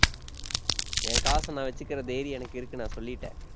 என் காசை நான் வச்சிக்கிற தைரியம் எனக்கு இருக்கு நான் சொல்லிட்டேன்.